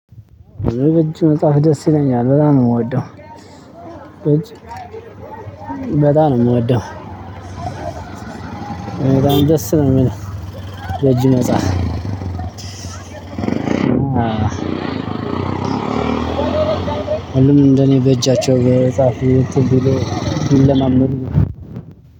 በእጅ መጽሐፍ ደስ ይለኛል በጣም ነው የምወደው። በእጅ በጣም ነው የምወደው። በጣም ደስ ነው የሚለው። በጅ መጻፍ። እኔ እንደኔ በእጃቸው እየጻፉ እንተን ቢሉ ቢለማመዱ